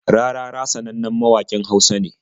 Rarara sanannen mawaƙin Hausa ne.